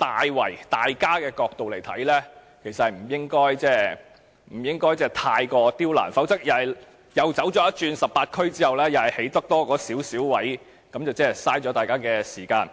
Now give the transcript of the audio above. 的角度來看，其實也不應過於刁難，否則當局諮詢18區後，只能興建少許龕位，那便浪費了大家的時間。